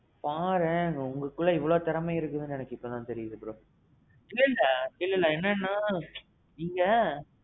பாரேன் உங்களுக்குள்ள எவ்வளவு திறமை இருக்குதுனு எனக்கு இப்போதான் தெரியுது bro. இல்ல இல்ல. இல்ல இல்ல என்னன்னா, நீங்க.